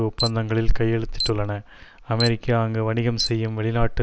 ஒப்பந்தங்களில் கையெழுத்திட்டுள்ளன அமெரிக்கா அங்கு வணிகம் செய்யும் வெளிநாட்டு